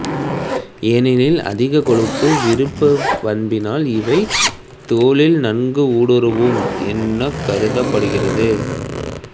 ஏனெனில் அதீதக் கொழுப்பு விருப்பப் பண்பினால் இவை தோலில் நன்கு ஊடுருவும் எனக் கருதப்படுகிறது